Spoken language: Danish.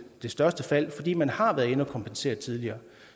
det største fald fordi man har været inde at kompensere dem tidligere